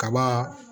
Kaba